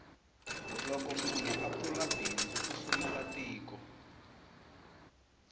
loko munhu a pfula bindzu u sumela tiko